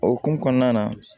O hukumu kɔnɔna na